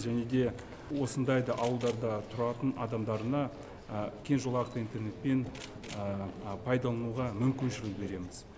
және де осындай да ауылдарда тұратын адамдарына кеңжолақты интернетпен пайдалануға мүмкіншілік береміз